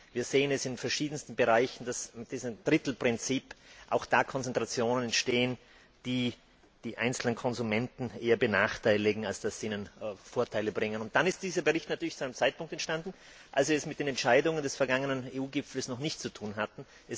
Wir sehen es in den verschiedensten Bereichen, dass mit diesem Drittelprinzip auch da Konzentrationen entstehen, die die einzelnen Konsumenten eher benachteiligen, als ihnen Vorteile zu bringen. Dieser Bericht ist zu einem Zeitpunkt entstanden, als wir es mit den Entscheidungen des vergangenen EU Gipfels noch nicht zu tun hatten.